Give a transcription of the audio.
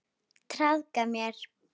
Traðka á mér!